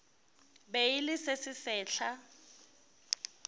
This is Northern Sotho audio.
be e le se sesehla